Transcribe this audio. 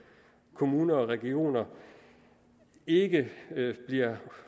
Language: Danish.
kommuner og regioner ikke bliver